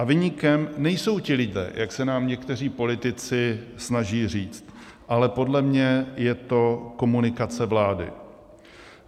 A viníkem nejsou ti lidé, jak se nám někteří politici snaží říct, ale podle mě je to komunikace vlády.